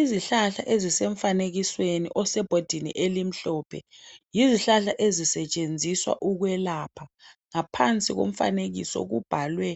Izihlahla ezisemfanekisweni osebhodini elimhlophe yizihlahla ezisetshenziswa ukwelapha Ngaphansi komfanekiso kubhalwe